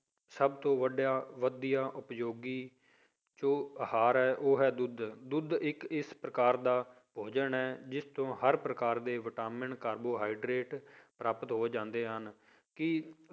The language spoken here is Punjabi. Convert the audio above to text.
ਸਭ ਤੋਂ ਵੱਡਾ ਵਧੀਆ ਉਪਯੋਗੀ ਜੋ ਆਹਾਰ ਹੈ ਉਹ ਹੈ ਦੁੱਧ, ਦੁੱਧ ਇੱਕ ਇਸ ਪ੍ਰਕਾਰ ਦਾ ਭੋਜਨ ਹੈ ਜਿਸ ਤੋਂ ਹਰ ਪ੍ਰਕਾਰ ਦੇ vitamin carbohydrate ਪ੍ਰਾਪਤ ਹੋ ਜਾਂਦੇ ਹਨ, ਕੀ